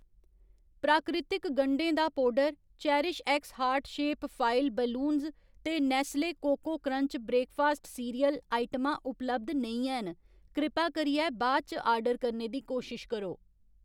प्राकृतिक गंढें दा पौडर, CherishX heart shape foil balloons ते Nestle cocoa crunch breakfast cereal आइटमां उपलब्ध नेईं हैन, कृपा करियै बाद इच आर्डर करने दी कोशश करो